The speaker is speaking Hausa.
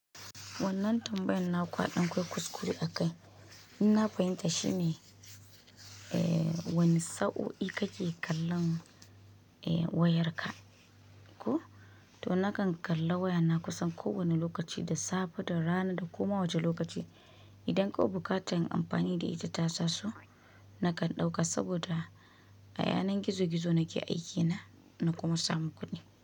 Wannan tambayan na kwaɗon kwai kuskure a kai. Ina fahimta shine, wane sau'i kake kallon wayarka ko? To nakan kalla wayana kusan kowane lokaci, da safe, da rana da kuma wuce lokaci. Idan ƙau bukatar yin amfani da ita ta tasu, nakan ɗauka saboda a yanar gizo-gizo nake aikina na kuma samu kuɗi.